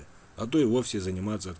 а то и вовсе за не